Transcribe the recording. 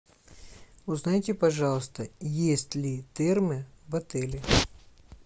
узнайте пожалуйста есть ли термы в отеле